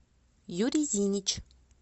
юрий зинич